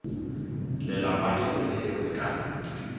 lelapa lengwe le lengwe ka